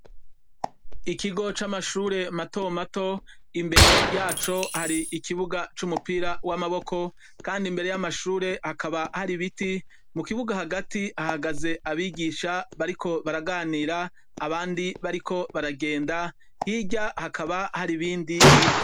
Ikigo c’amashure mato mato imbere yaco hari ikibuga c’umupira w’amaboko kandi imbere y’amashure hakaba hari ibiti mu kibuga hagati hahagaze abigisha bariko baraganira abandi bariko baragenda hirya hakaba haribindi biti.